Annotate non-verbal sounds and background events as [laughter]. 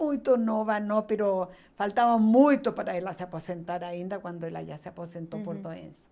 muito nova, não, [unintelligible] faltava muito para ela se aposentar ainda quando ela já se aposentou, uhum, por doença.